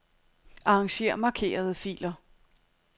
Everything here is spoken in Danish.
Arranger markerede filer.